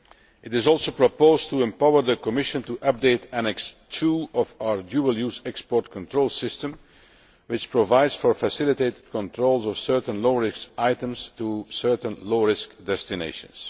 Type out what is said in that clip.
It is also proposed to empower the Commission to update Annex II of our dual use export control system, which provides for facilitated controls of certain low risk items to certain low risk destinations.